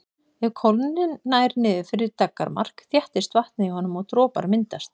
Ef kólnunin nær niður fyrir daggarmark þéttist vatnið í honum og dropar myndast.